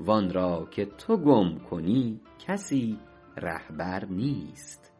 وآن را که تو گم کنی کسی رهبر نیست